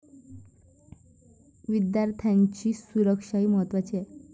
विद्यार्थ्यांची सुरक्षाही महत्त्वाची आहे.